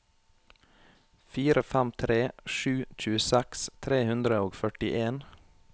fire fem tre sju tjueseks tre hundre og førtien